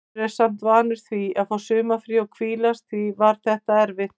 Maður er samt vanur því að fá sumarfrí og hvílast og því var þetta erfitt.